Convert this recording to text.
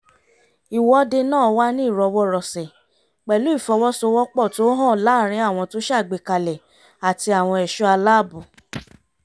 ìwọ́dé náà wà ní ìrọwọ́ rọsẹ̀ pẹ̀lú ìfọwọ́sowọ́pọ̀ tó hàn láàrin àwọn tó ṣàgbékalẹ̀ àti àwọn ẹ̀ṣọ́ aláàbò